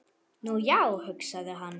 Nú, já, hugsaði hann.